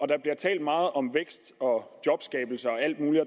der bliver talt meget om vækst og jobskabelse og alt muligt